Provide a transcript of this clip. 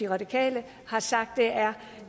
radikale har sagt er